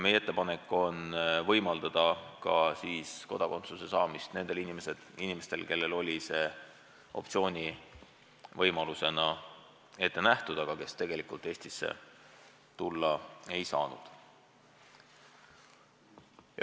Meie ettepanek on võimaldada Eesti kodakondsus saada nendel inimestel, kellele see oli opteerumise võimalusena ette nähtud, aga kes tegelikult Eestisse tulla ei saanud.